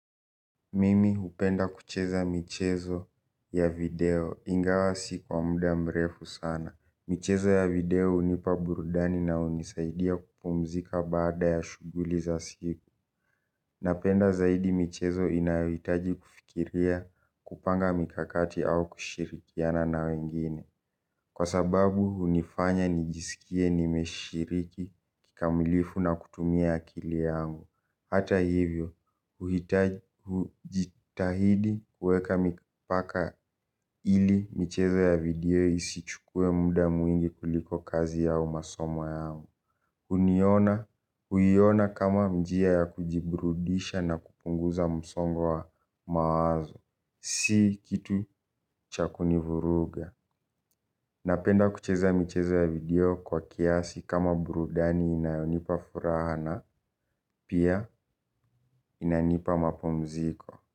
Mimi hupenda kucheza michezo ya video. Ingawa si kwa muda mrefu sana. Michezo ya video hunipa burudani na hunisaidia kupumzika baada ya shughuli za siku. Napenda zaidi michezo inayohitaji kufikiria kupanga mikakati au kushirikiana na wengine. Kwa sababu hunifanya nijisikie nimeshiriki kikamilifu na kutumia akili yangu. Hata hivyo, hujitahidi kuweka mipaka ili michezo ya video isichukue muda mwingi kuliko kazi au masomo yangu. Huniona, huiona kama njia ya kujibrudisha na kupunguza msongo wa mawazo. Si kitu cha kunivuruga. Napenda kucheza michezo ya video kwa kiasi kama burudani inayonipa furaha na pia inanipa mapumziko.